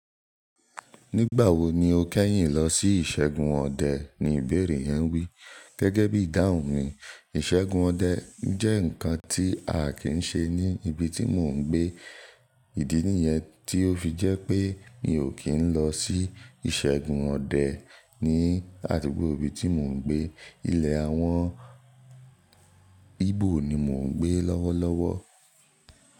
"Nígbà wo ni o kẹ́yìn lọ sí ìṣẹ́gun ọdẹ?" ni ìbéèrè yẹn wí. Gẹ́gẹ́ bí ìdáhùn mi, ìṣẹ́gun ọdẹ jẹ́ nǹkan tí a kì í ṣe ní ibi tí mò ń gbé. Ìdí nìyẹn tí ó fi jẹ́ pé mi ò kí n lọ sí ìṣẹ́gun ọdẹ ní àdúgbò ibi tí mò ń gbé. Ilẹ̀ àwọn Ígbò ni mò ń gbé lọ́wọ́lọ́wọ́.